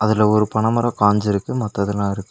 அதுல ஒரு பனமரோ காஞ்சுருக்கு மத்ததெல்லா இரு--